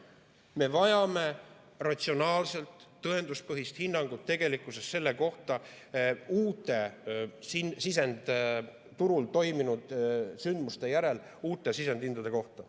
Me vajame ratsionaalset tõenduspõhist hinnangut sisendturul toimunud sündmuste järel uute sisendhindade kohta.